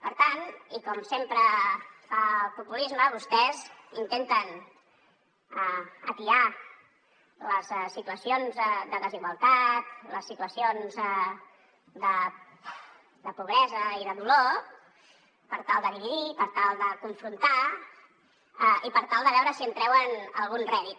per tant i com sempre fa el populisme vostès intenten atiar les situacions de desigualtat les situacions de pobresa i de dolor per tal de dividir per tal de confrontar i per tal de veure si en treuen algun rèdit